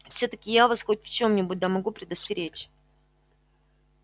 всё-таки я вас хоть в чём-нибудь да могу предостеречь